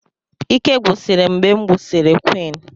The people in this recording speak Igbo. Ike gwusiri m mgbe m nwụsịrị quinn